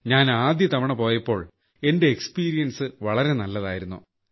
ഞാൻ ആദ്യതവണ പോയപ്പോൾ എന്റെ അനുഭവം വളരെ നല്ലതായിരുന്നു